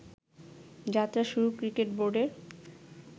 যাত্রা শুরু ক্রিকেট বোর্ডের